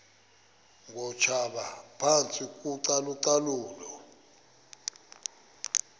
ngootitshala phantsi kocalucalulo